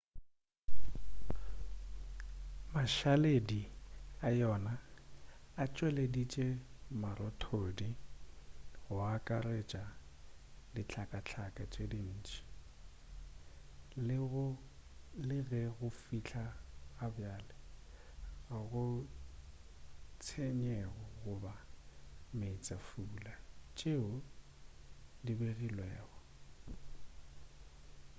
mašaledi a yona a tšweleditše marothodi go akaretša dihlakahlaka tše ntši le ge go fihla ga bjale ga go tshenyego goba meetsefula tšeo di begilwego